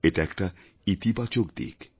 এটা একটা ইতিবাচকদিক